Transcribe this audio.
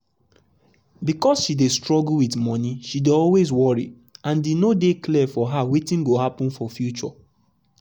because she dey struggle with monie she dey always worry um and e no dey clear for her wetin go happen for future.